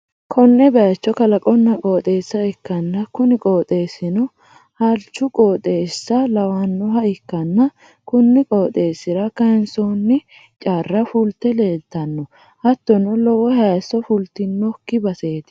konne bayicho kalaqonna qooxeessa ikkanna, kuni qooxeessi'no alichu qooxeessa lawannoha ikkanna, kuni qooxeessi'ra kayiinsoonni charra fulte leeltanno. hattono lowo hayisso fultinokki baseeti.